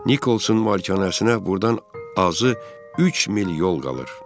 Nikolsun malikanəsinə burdan azı üç mil yol qalır.